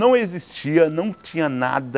Não existia, não tinha nada.